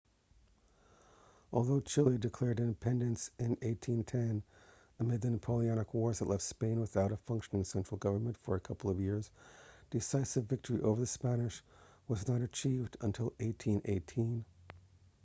although chile declared independence in 1810 amid the napoleonic wars that left spain without a functioning central government for a couple of years decisive victory over the spanish was not achieved until 1818